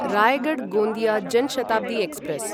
Raigarh Gondia Jan Shatabdi express